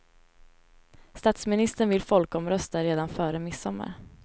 Statsministern vill folkomrösta redan före midsommar.